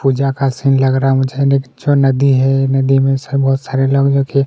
पूजा का सीन लग रहा है मुझे यह जो नदी हैं नदी में से बहुत सारे लोग जो की --